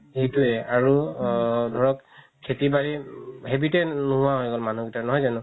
সেইটোৱে আৰু ধৰক খেতি বাৰি habit য়ে নুহুৱা হৈ গ'ল মানুহৰ গিতাৰ নহয় জানো